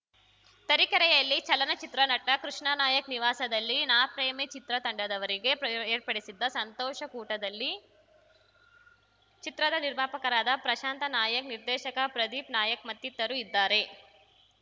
ತರೀಕೆರೆಯಲ್ಲಿ ಚಲನ ಚಿತ್ರನಟ ಕೃಷ್ಣಾನಾಯಕ್‌ ನಿವಾಸದಲ್ಲಿ ನಾ ಪ್ರೇಮಿ ಚಿತ್ರತಂಡದವರಿಗೆ ಪ್ರಯ್ ಏರ್ಪಡಿಸಿದ್ದ ಸಂತೋಷ ಕೂಟದಲ್ಲಿ ಚಿತ್ರದ ನಿರ್ಮಾಪಕರಾದ ಪ್ರಶಾಂತ ನಾಯಕ್‌ ನಿರ್ದೇಶಕ ಪ್ರದೀಪ್‌ ನಾಯಕ್‌ ಮತ್ತಿತರು ಇದ್ದಾರೆ